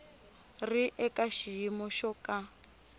ri eka xiyimo xo ka